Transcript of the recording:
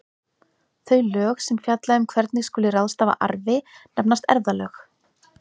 Þau lög sem fjalla um hvernig skuli ráðstafa arfi nefnast erfðalög.